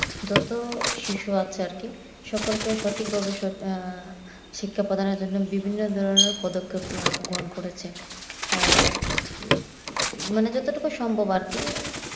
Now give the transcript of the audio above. যত শিশু আছে আর কি সকলকে সঠিকভাবে আহ শিক্ষা প্রধানের জন্যে বিভিন্ন ধরণের পদক্ষেপ গ্রহণ করেছে আর আহ মানে যেটুকু সম্ভব